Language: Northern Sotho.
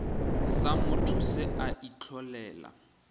sa motho se a itlholela